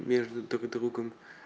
между друг другом